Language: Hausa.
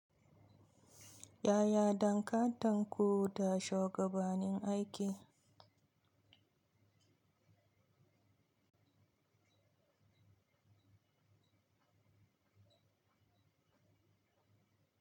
Yaya dankanten ku da shugabanin aiki?